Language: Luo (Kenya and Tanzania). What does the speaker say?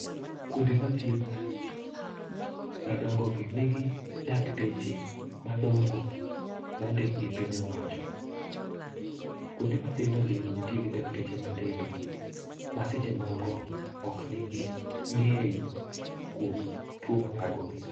Kuonde mathieth, madongo gi, nigi dakteche madongo mondik gi piny owacho. Kuonde mathindo gi, ntie gi dakteche matindo ma seche moko ok nigi ng'eyo kuom tuo madhagogi.